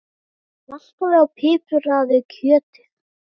Saltaðu og pipraðu kjötið.